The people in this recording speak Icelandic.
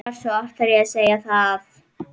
Hversu oft þarf ég að segja það?